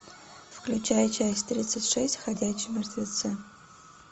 включай часть тридцать шесть ходячие мертвецы